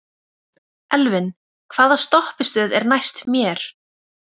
Elvin, hvaða stoppistöð er næst mér?